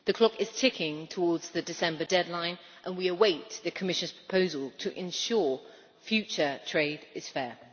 The clock is ticking towards the December deadline and we await the Commission's proposal to ensure future trade is fair.